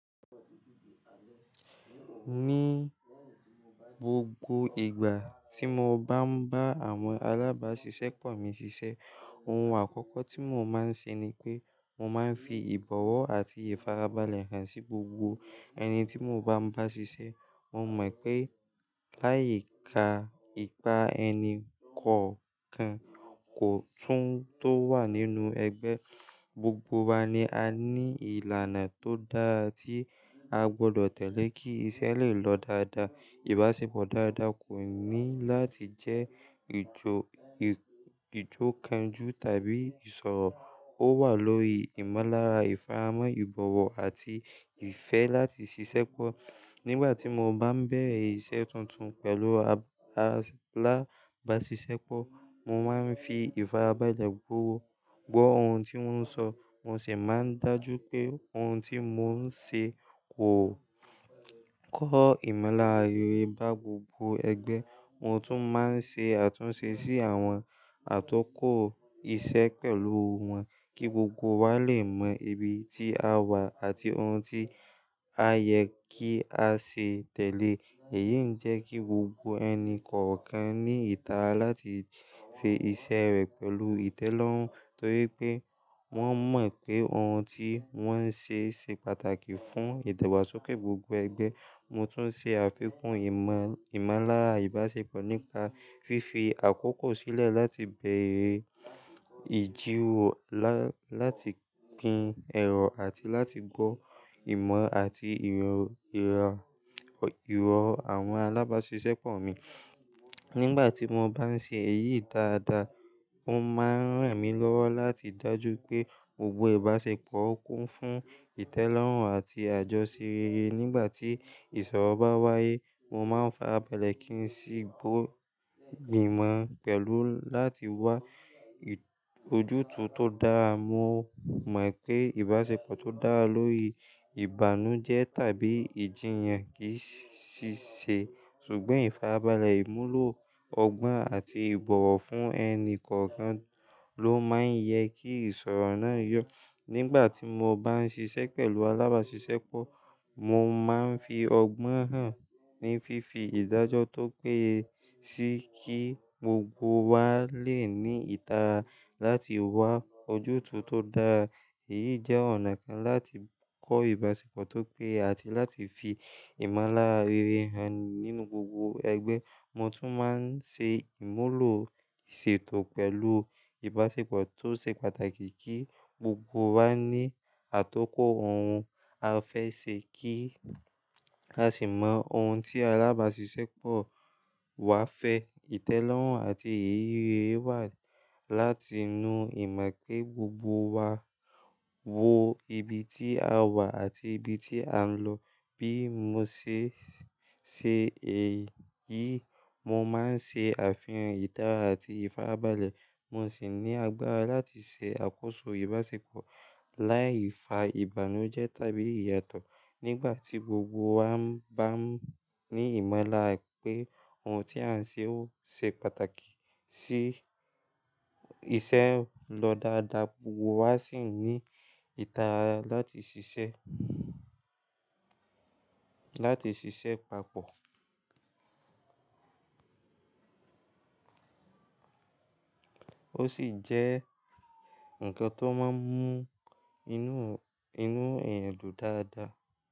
Ní gbogbo ìgbà tí mo bá ń bá àwọn alábàásisẹ́pọ̀ mi ṣiṣẹ́, ohun àkọ́kọ́ tí mò máa ń ṣe ni pé mò máa ń fi ìbọ̀wọ̀ àti ìfarabalẹ̀ hàn sí gbogbo ẹni tí mò bá ń bá ṣiṣẹ́. Mo mọ̀ pé láyìíká ìpa ẹni kọ̀ọ̀kan kò tún tó wà nínú ẹgbẹ́, gbogbo wa ni a ní ìlànà tó dáa tí a gbọdọ̀ tẹ̀lé kí iṣẹ́ lè lọ dáadáa. Ìbáṣepọ̀ dáadáa kò ní láti jẹ́ ìjòkànjú tàbí ìṣọ̀rọ̀. Ó wà lórí ìmọ̀lára, ìfáramọ́ ìbọ̀wọ̀ àti ìfẹ́ láti ṣiṣẹ́pọ̀. Nígbà tí mò bá ń bẹ̀rẹ̀ iṣẹ́ tuntun pẹ̀lú alábàásisẹ́pọ̀, mò máa ń fi ìfarabalẹ̀ gbówo gbọ́ ohun tí wọ́n ń sọ, mo sì máa ń dájú pé ohun tí mò ń ṣe kò kọ́ ìmọ̀lára rere bá gbogbo ẹgbẹ́. Mo tún máa ń ṣe àtúnṣe sí àwọn atọ́kọ̀ iṣẹ́ pẹ̀lú wọn kí gbogbo wa lè mọ ibi tí a wà àti ohun tí a yẹ kí a ṣe tẹ̀lé. Èyí ń jẹ́ kí gbogbo ẹni kọ̀ọ̀kan ní ìtara láti ṣe iṣẹ́ rẹ̀ pẹ̀lú ìtẹ́lọ́rùn torí pé wọ́n mọ̀ pé ohun tí wọ́n ń ṣe ṣe pàtàkì fún ìdàgbàsókè gbogbo ẹgbẹ́. Mo tún ṣe àfikún ìmọ̀lára ìbáṣepọ̀ nípa fífi àkókò sílẹ̀ láti beẹ̀rẹ̀ ìjírorò láti pín ẹ̀rọ àti láti gbọ́ ìmọ̀ àti ìrọ̀ àwọn alábàásisẹ́pọ̀ mi. Nígbà tí mò bá ń ṣe èyí dáadáa, ó máa ń ràn mí lọ́wọ́ láti dájú pé gbogbo ìbáṣepọ̀ kún fún ìtẹ́lọ́rùn àti àjọṣerere. Nígbà tí ìṣọ̀rọ̀ bá wáyé, mò máa ń farabalẹ̀ kí n sì gbọ́ gbìmọ̀ pẹ̀lú láti wá ojútùú tó dáa. Mo mọ̀ wipé ìbáṣepọ̀ tó dára lórí ìbànújẹ́ tàbí ìjiyàn kì í ṣì ṣe, ṣùgbọ́n ìfarabalẹ̀, ìmúlò ọgbọ́n àti ìbọ̀wọ̀ fún ẹni kọ̀ọ̀kan ló máa ń yẹ kí ìṣọ̀rọ̀ náà yọ. Nígbà tí mò bá ń ṣiṣẹ́ pẹ̀lú alábàásisẹ́pọ̀, mò máa ń fi ọgbọ́n hàn ní fífi ìdájọ́ tó péye sí kí gbogbo wa lè ní ìtara láti wá ojútùú tó dáa. Èyí jẹ́ ọ̀nà kan láti kọ́ ìbáṣepọ̀ tó péye àti láti fi ìmọ̀lára rere hàn nínú gbogbo ẹgbẹ́. Mo tún máa ń ṣe ìmúlò ìṣètò pẹ̀lú ìbáṣepọ̀ tó ṣe pàtàkì kí gbogbo wa ní àtọ́kọ̀ ohun a fẹ́ ṣe kí a sì mọ ohun tí alábàásisẹ́pọ̀ wa fẹ́. Ìtẹ́lọ́rùn àti ìrírí rere wà láti inú ìmọ̀ pé gbogbo wa wọ ibi tí a wà àti ibi tí à ń lọ. Bí mo ṣe ṣe èyí, mò máa ń ṣe àfihàn ìdára àti ìfarabalẹ̀, mo sì ní agbára láti ṣe àkóso ìbáṣepọ̀ láìfa ìbànújẹ́ tàbí ìyàtọ̀. Nígbà tí gbogbo wa bá n ní ìmọ̀lára pé ohun tí à ń ṣe ó ṣe pàtàkì sí iṣẹ́ ń lọ dáadáa, gbogbo wa sì ní ìtara láti ṣiṣẹ́, láti ṣiṣẹ́ papọ̀ ó sì jẹ́ nǹkan tó máa ń mú inú, inú èèyàn dùn dáadáa.